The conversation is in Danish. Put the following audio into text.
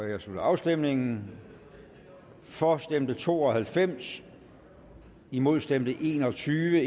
jeg slutter afstemningen for stemte to og halvfems imod stemte en og tyve